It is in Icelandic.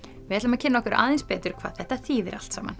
við ætlum að kynna okkur aðeins betur hvað þetta þýðir allt saman